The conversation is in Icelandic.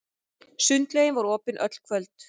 Sundlaugin var opin öll kvöld.